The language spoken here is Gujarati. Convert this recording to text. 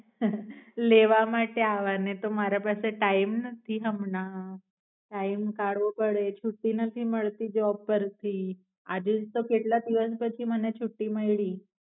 લાવા માટે અવનો તો મારા પાસે ટાઇમ નાથી હમના ટાઇમ કઢવો પડે છૂટ્ટી નાથી મળતી જોબ પરથી આજેજ તો કેટલા દિવસ પછી મને છૂટી મૈલી.